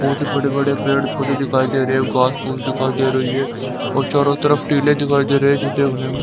बहुत बड़े बड़े पेड़ पौधे दिखाई दे रहे है घास फूस दिखाई दे रही है और चारों तरफ टीले दिखाई दे रहे है जो देखने में--